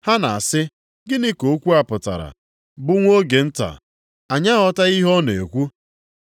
Ha na-asị, “Gịnị ka okwu a pụtara bụ ‘nwa oge nta’? Anyị aghọtaghị ihe ọ na-ekwu.”